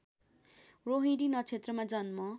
रोहिणी नक्षत्रमा जन्म